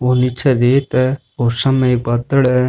ओ नीचे रेत है और सामने एक पाथर है।